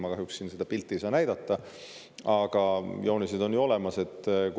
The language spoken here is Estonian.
Ma kahjuks siin seda pilti ei saa näidata, aga joonised on ju olemas.